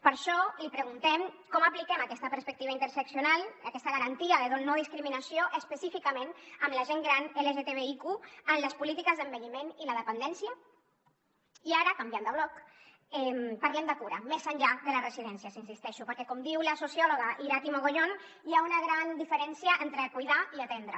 per això li preguntem com apliquem aquesta perspectiva interseccional aquesta garantia de no discriminació específicament amb la gent gran lgtbiq en les polítiques d’envelliment i la dependència i ara canviant de bloc parlem de cura més enllà de les residències hi insisteixo perquè com diu la sociòloga irati mogollón hi ha una gran diferència entre cuidar i atendre